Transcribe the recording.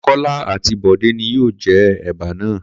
Kó̩lá àti Bò̩dé ni yóò je̩ è̩bà náà